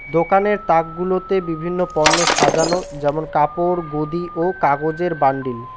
দোকানের তাকগুলোতে বিভিন্ন পণ্য সাজানো যেমন কাপড় গদি ও কাগজের বান্ডিল ।